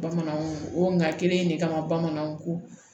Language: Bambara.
Bamananw o nga kelen in de kama bamananw ko